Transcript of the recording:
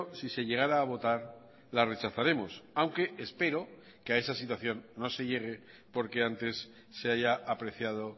si se llegara a votar la rechazaremos aunque espero que a esa situación no se llegue porque antes se haya apreciado